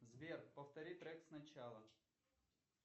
сбер повтори трек сначала